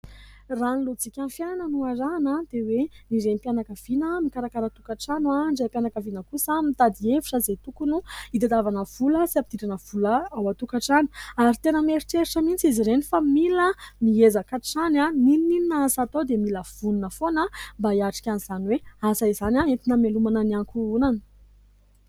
Raha ny lojikan'ny fiainana no arahina dia hoe ny renim-pianakaviana no mikarakara tokatrano; ny raim-pianakaviana kosa mitady hevitra izay tokony hitadiavana vola sy hampidirana vola ao an-tokatrano. Ary tena miheritreritra mihitsy izy ireny fa; mila mihezaka hatrany n'inon'inona asa atao dia mila vonona foana, mba hiatrika an'izany hoe asa izany. Entina hamelomana ny ankohonana.